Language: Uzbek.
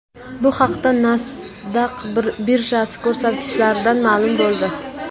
Bu haqda Nasdaq birjasi ko‘rsatkichlaridan ma’lum bo‘ldi .